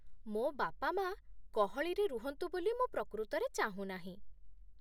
ମୋ ବାପା ମା' ଗହଳିରେ ରୁହନ୍ତୁ ବୋଲି ମୁଁ ପ୍ରକୃତରେ ଚାହୁଁନାହିଁ ।